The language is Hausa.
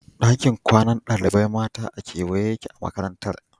Dakin kwanan ɗalibai mata a kewaye yake a Makarantar